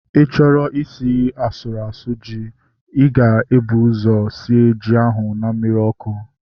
Ịchọrọ isi ji asụrụ asụ, ịga ebu ụzọ sie ji ahu na mmiri ọkụ